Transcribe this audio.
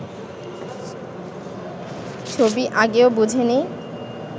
ছবি আগেও বোঝেনি